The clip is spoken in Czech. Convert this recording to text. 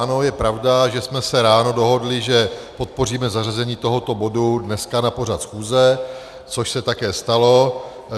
Ano, je pravda, že jsme se ráno dohodli, že podpoříme zařazení tohoto bodu dneska na pořad schůze, což se také stalo.